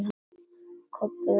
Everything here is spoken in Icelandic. Kobbi var yfir sig hissa.